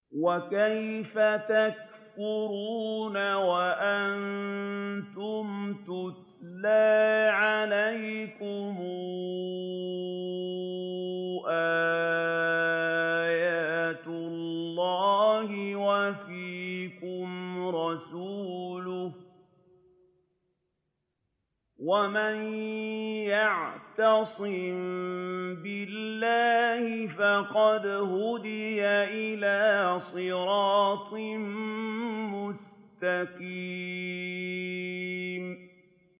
وَكَيْفَ تَكْفُرُونَ وَأَنتُمْ تُتْلَىٰ عَلَيْكُمْ آيَاتُ اللَّهِ وَفِيكُمْ رَسُولُهُ ۗ وَمَن يَعْتَصِم بِاللَّهِ فَقَدْ هُدِيَ إِلَىٰ صِرَاطٍ مُّسْتَقِيمٍ